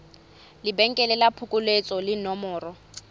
lebenkele la phokoletso le nomoro